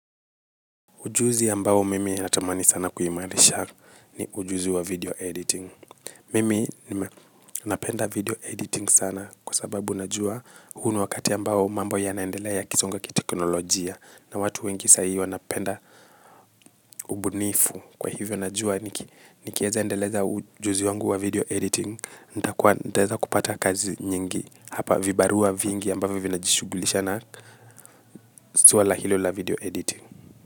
Ujuzi ambao mimi natamani sana kuimarisha ni ujuzi wa video editing. Mimi napenda video editing sana kwa sababu najua huu ni wakati ambao mambo yanaendelea ya kisonga ki teknolojia na watu wengi sahii wanapenda ubunifu kwa hivyo najua nikiweza endeleza ujuzi wangu wa video editing nitakuwa nitaweza kupata kazi nyingi hapa vibaruwa vingi ambavyo vinajishugulisha na suala hilo la video editing.